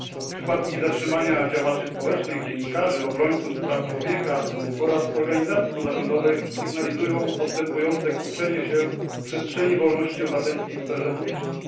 Przypadki zatrzymania działaczy społecznych, dziennikarzy i obrońców praw człowieka oraz organizacji pozarządowych sygnalizują postępujące kurczenie się przestrzeni wolności obywatelskich w sferze publicznej.